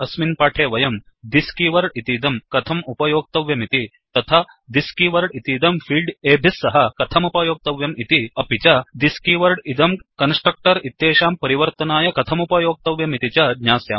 अस्मिन् पाठे वयं thisदिस् कीवर्ड् इतीदं कथम् उपयोक्तव्यमिति तथा thisदिस् कीवर्ड् इतीदं fieldफील्ड् एभिः सह कथमुपयोक्तव्यं इति अपि च thisदिस् कीवर्ड् इदं कन्स्ट्रक्टर् इत्येषां परिवर्तनाय कथमुपयोक्तव्यमिति च ज्ञास्यामः